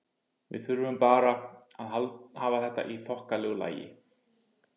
Við þurfum bara að hafa þetta í þokkalegu lagi.